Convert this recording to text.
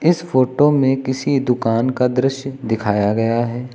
इस फोटो में किसी दुकान का दृश्य दिखाया गया है।